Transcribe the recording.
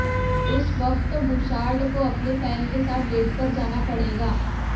उस वक्त बुशार्ड को अपने फैन के साथ डेट पर जाना पड़ेगा